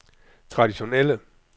traditionelle